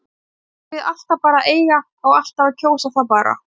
Eigum við alltaf bara að eiga, á alltaf að kjósa það bara?